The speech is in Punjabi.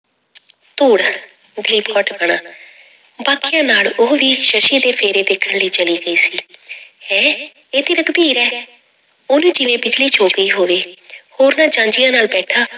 ਧੂੜ ਦੀ ਭਟਕਣਾ ਬਾਕੀਆਂ ਨਾਲ ਉਹ ਵੀ ਸੱਸੀ ਦੇ ਫੇਰੇ ਦੇਖਣ ਲਈ ਚਲੀ ਗਈ ਸੀ ਹੈਂ ਇਹ ਤੇ ਰਘੁਬੀਰ ਹੈ ਉਹਨੂੰ ਜਿਵੇਂ ਬਿਜ਼ਲੀ ਛੂਹ ਪਈ ਹੋਵੇ ਹੋਰਨਾਂ ਜਾਂਞੀਆਂ ਨਾਲ ਬੈਠਾ